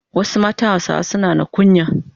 Wasu matan Hausawa suna na kunya.